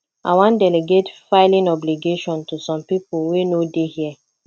i wan delegate filing obligation to some people wey no dey here